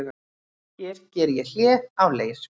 Hér ég geri hlé á leir